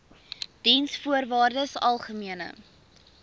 diensvoorwaardesalgemene